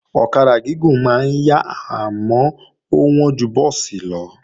Ọ̀kadà gúgùn máa ń yá àmọ́ ó wọ́n ju búùsì lọ